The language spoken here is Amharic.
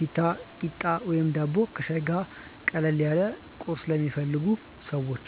ኪታ፣ ቂጣ ወይም ዳቦ ከሻይ ጋር፦ ቀለል ያለ ቁርስ ለሚፈልጉ ሰዎች።